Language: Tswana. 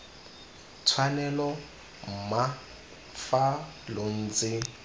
tshwanelo mma fa lo ntse